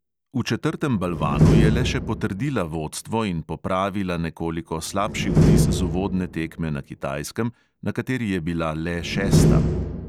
V četrtem balvanu je le še potrdila vodstvo in popravila nekoliko slabši vtis z uvodne tekme na kitajskem, na kateri je bila "le" šesta.